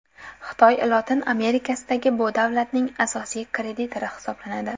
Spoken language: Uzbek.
Xitoy Lotin Amerikasidagi bu davlatning asosiy kreditori hisoblanadi.